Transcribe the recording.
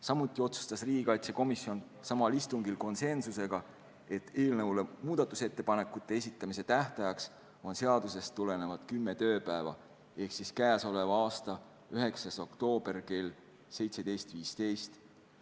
Samuti otsustas riigikaitsekomisjon samal istungil , et muudatusettepanekute esitamise tähtaeg on seadusest tulenevad kümme tööpäeva ehk siis k.a 9. oktoober kell 17.15.